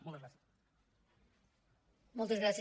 moltes gràcies